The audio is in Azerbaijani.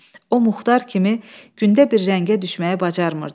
O Muxtar kimi gündə bir rəngə düşməyi bacarmırdı.